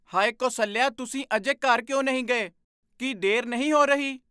ਹਾਇ ਕੌਸਲਿਆ, ਤੁਸੀਂ ਅਜੇ ਘਰ ਕਿਉਂ ਨਹੀਂ ਗਏ? ਕੀ ਦੇਰ ਨਹੀਂ ਹੋ ਰਹੀ?